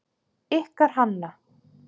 Ykkar Hanna.